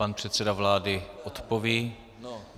Pan předseda vlády odpoví.